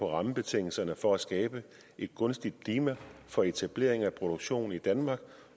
rammebetingelserne for at skabe et gunstigt klima for etablering af produktion i danmark